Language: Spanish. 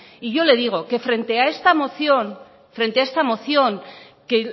y yo le digo que frente a esta moción que